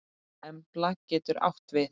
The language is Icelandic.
Embla getur átt við